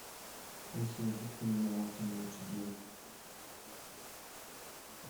алиса найди кино самый лучший день